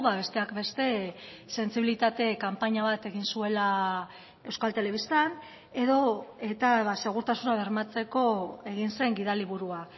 besteak beste sentsibilitate kanpaina bat egin zuela euskal telebistan edo eta segurtasuna bermatzeko egin zen gidaliburua